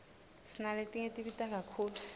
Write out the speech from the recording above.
sinaletinye tibita kakhulu